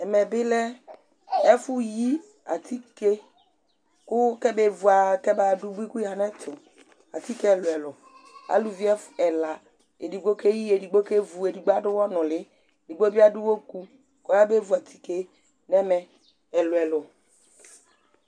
ɛmɛbilɛ ɛfuyï ɑtiké kɛmɛvuɑ kɛmɑdω buï ku yɑɲɛtu ɑtikɛ ɛluɛluɛ ɑlωvi ɛlɑ ɛɖigbo kɛyï ɛɖigbo kɛvω ɛɖigbo ɑɗωwɔnuli ɛɖigbo biɑɗuwɔkω ƙɔyɑbɛvω ɑtikɛ ɲɛmɛ ɛluɛluɛ